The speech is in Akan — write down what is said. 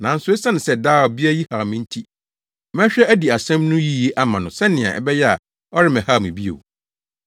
nanso esiane sɛ daa ɔbea yi haw me nti, mɛhwɛ adi asɛm no yiye ama no sɛnea ɛbɛyɛ a ɔremmɛhaw me bio!’ ”